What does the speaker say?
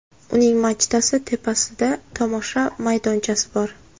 Uning machtasi tepasida tomosha maydonchasi bor.